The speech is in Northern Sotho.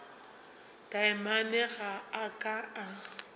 taamane ga a ka a